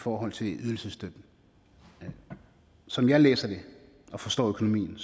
forhold til ydelsesstøtten som jeg læser det og forstår økonomien